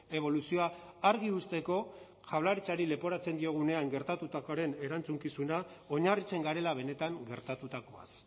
eboluzioa argi uzteko jaurlaritzari leporatzen diogunean gertatutakoaren erantzukizuna oinarritzen garela benetan gertatutakoaz